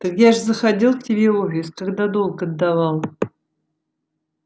так я же заходил к тебе в офис когда долг отдавал